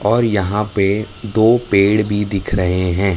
और यहां पे दो पेड़ भी दिख रहे हैं।